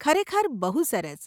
ખરેખર બહુ સરસ.